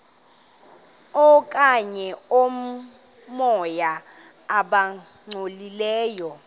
okanye oomoya abangcolileyo